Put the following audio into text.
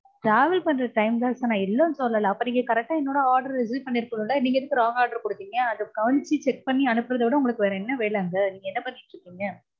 travel பண்ற time தா sir நா இல்லனு சொல்லல. அப்போ நீங்க correct ஆ என்னோட order receive பண்ணிருக்கனும்ல. நீங்க எதுக்கு wrong order கொடுத்தீங்க? அது கவனிச்சு check பண்ணி அனுப்பறதுவிட உங்களுக்கு வேற என்ன வேல அங்க? நீங்க என்ன பண்ணிட்டிருந்தீங்க?